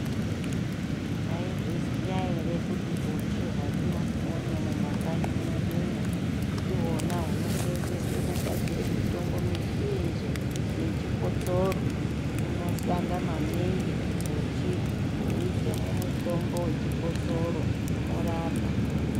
Taizviziva here kuti uchi hwatinoona mumakanyi medu umo, ndihwona hunosevenzeswe kugadzire mitombo mizhinji yechikosoro unoshanda maningi uchiise muchikosoro, uchi hunorapa.